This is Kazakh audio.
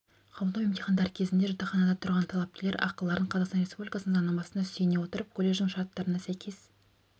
қабылдау емтихандары кезінде жатақханада тұрған талапкерлер ақыларын қазақстан республикасының заңнамасына сүйене отырып колледждің шарттарына сәйкес